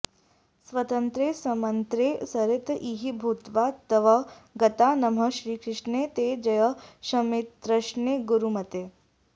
स्वतन्त्रे सन्मन्त्रे सरित इह भूत्वा तव गता नमः श्रीकृष्णे ते जय शमिततृष्णे गुरुमते